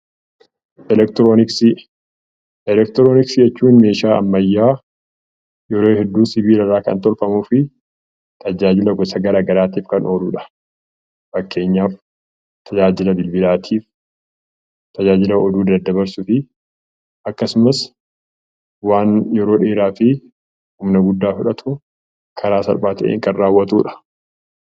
Eleektirooniksii Eleektirooniksii jechuun meeshaa ammayyaa sibiila irraa kan tolfamuu fi tajaajila gosa garaagaraatiif kan ooludha. Fakkeenyaaf tajaajila bilbilaatiif, tajaajila oduu daddabarsuu fi akkasumas waan yeroo dheeraatiif humna guddaa fudhatu karaa salphaa ta'een hojjetudha.